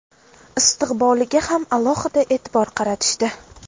istiqboliga ham alohida e’tibor qaratishdi.